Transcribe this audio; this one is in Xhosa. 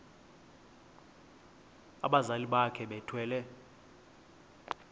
abazali bakhe bethwele